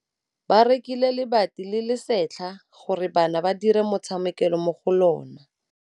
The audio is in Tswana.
Ba rekile lebati le le setlha gore bana ba dire motshameko mo go lona.